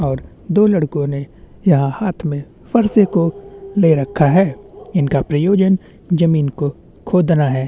और दो लड़कों ने यहाँ हाथ में फरसे को ले रखा है इनका प्रयोजन जमीन को खोदना है।